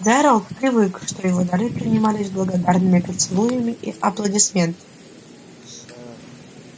джералд привык чтобы его дары принимались с благодарными поцелуями и аплодисментами